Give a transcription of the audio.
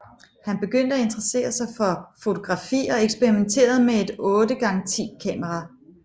Han begyndte at interessere sig for fotografi og eksperimenterede med et 8 x 10 kamera